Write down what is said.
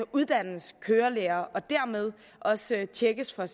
uddannes kørelærer og dermed også tjekkes hvad